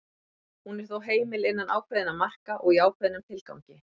hún er þó heimil innan ákveðinna marka og í ákveðnum tilgangi